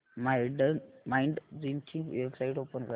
Mindgym ची website open कर